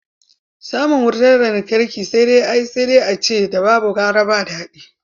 Samun wurar lantarki ai sai dai a ce ‘da babu gara ba dadi.